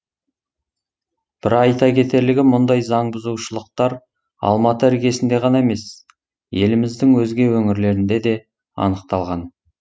бір айта кетерлігі мұндай заңбұзушылықтар алматы іргесінде ғана емес еліміздің өзге өңірлерінде де анықталған